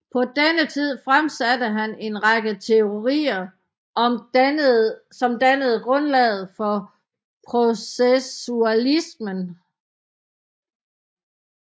På denne tid fremsatte han en række teorier som dannede grundlaget for processualismen